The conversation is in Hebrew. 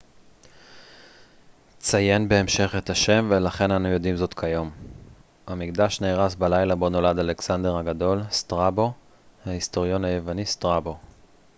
ההיסטוריון היווני סטראבו strabo ציין בהמשך את השם ולכן אנו יודעים זאת כיום. המקדש נהרס בלילה בו נולד אלכסנדר הגדול